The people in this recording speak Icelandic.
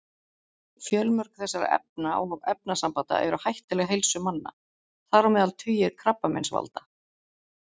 Fjölmörg þessara efna og efnasambanda eru hættuleg heilsu manna, þar á meðal tugir krabbameinsvalda.